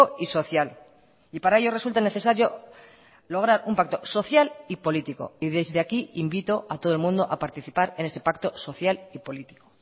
y social y para ello resulta necesario lograr un pacto social y político y desde aquí invito a todo el mundo a participar en ese pacto social y político